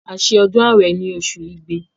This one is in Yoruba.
A se ọdún àwẹ̀ ni osù igbe